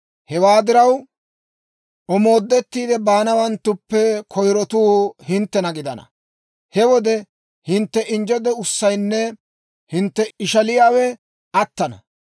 Hewaa diraw, omoodettiide baanawanttuppe koyrotuu hinttena gidana; he wode hintte injje de'ussaynne hintte ishaliyaawe attana.